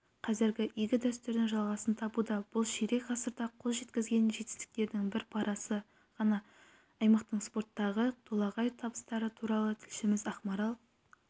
қазір игі дәстүр жалғасын табуда бұл ширек ғасырда қол жеткізген жетістіктердің бір парасы ғана аймақтың спорттағы толағай табыстары туралы тілшіміз ақмарал